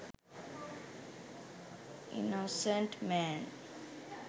innocent man